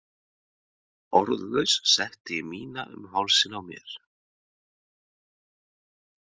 Orðlaus setti ég mína um hálsinn á mér.